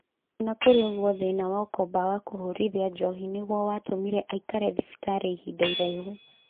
Ona kũrĩ ũguo thĩna wa ũkombo wa kũhũthĩra njohi nĩguo watũmire aikare thibitarĩ ihinda iraihu.